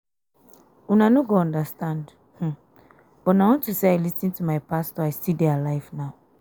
una no go understand but na unto say i lis ten to my pastor i still dey alive now